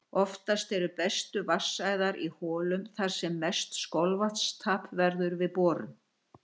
Oftast eru bestu vatnsæðar í holum þar sem mest skolvatnstap verður við borun.